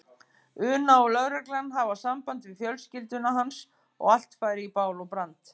una og lögreglan hafa samband við fjölskylduna hans og allt færi í bál og brand.